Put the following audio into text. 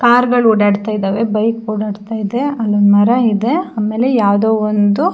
car ಗಳು ಓಡಾಡ್ತಾ ಇದಾವೆ ಬೈಕ್ ಓಡಾಡ್ತಾ ಇದೆ ಅಲ್ಲಿ ಮರ ಇದೆ ಆಮೇಲೆ ಯಾವುದೊ ಒಂದು --